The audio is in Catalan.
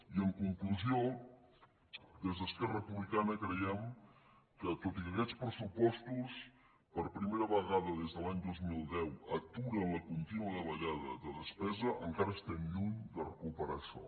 i en conclusió des d’esquerra republicana creiem que tot i que aquests pressupostos per primera vegada des de l’any dos mil deu aturen la contínua davallada de despesa encara estem lluny de recuperar això